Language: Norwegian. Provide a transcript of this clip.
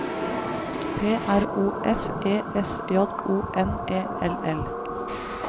P R O F E S J O N E L L